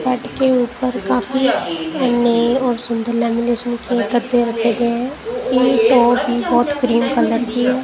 Bed के ऊपर काफी नए और सुंदर लेमिनेशन की गद्दे रखे गए हैं उसकी टॉप भी बहुत क्रीम कलर की है।